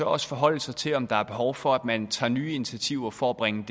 også forholde sig til om der er behov for at man tager nye initiativer for at bringe